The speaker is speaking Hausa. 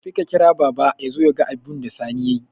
Tafi ka kira baba yazo yaga abunda Sani yayi